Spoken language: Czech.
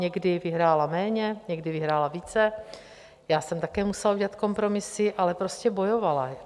Někdy vyhrála méně, někdy vyhrála více, já jsem také musela udělat kompromisy, ale prostě bojovala.